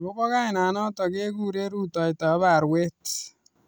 Agobo kainanata kekure ruototab arawet